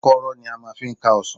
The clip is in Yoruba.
Àkọ́rọ́ ni a máa fi ń ká ọsàn.